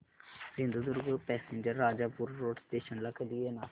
Sindhudurg passenger Rajapur road station ला कधी येणार